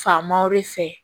Faamaw de fɛ